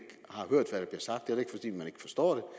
forstår